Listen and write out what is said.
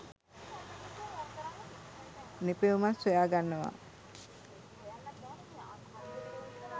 නිපැයුමක් සොයාගන්නවා.